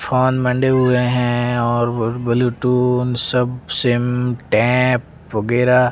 phone मंडे हुए है और ब्लूटूथ सब सिम टैप वगैरा--